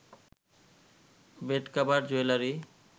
bed cover, jewellery